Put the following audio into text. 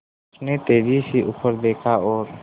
उसने तेज़ी से ऊपर देखा और